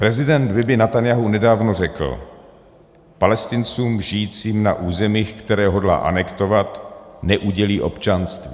Prezident Bibi Netanjahu nedávno řekl: Palestincům žijícím na územích, které hodlá anektovat, neudělí občanství.